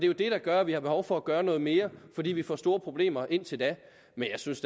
jo det der gør at vi har behov for at gøre noget mere fordi vi får store problemer indtil da men jeg synes